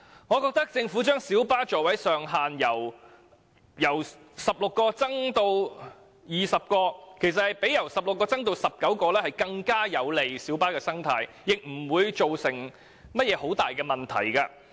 我覺得政府將小巴座位上限由16個增加至20個，其實較由16個增至19個更有利於小巴的生態，而且不會造成任何重大問題。